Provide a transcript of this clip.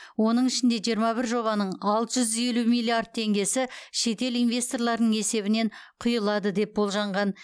оның ішінде жиырма бір жобаның алты жүз елу миллиард теңгесі шетел инвесторларының есебінен құйылады деп болжанған